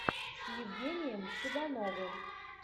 с евгением цыгановым